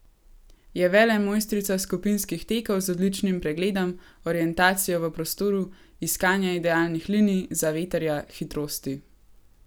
Je velemojstrica skupinskih tekov z odličnim pregledom, orientacijo v prostoru, iskanja idealnih linij, zavetrja, hitrosti.